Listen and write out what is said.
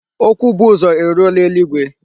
Okwu bu uzo eruola eluigwe.